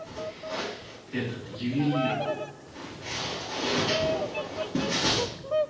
этот ювелирку